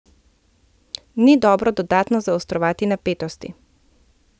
Ni dobro dodatno zaostrovati napetosti.